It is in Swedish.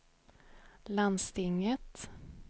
landstinget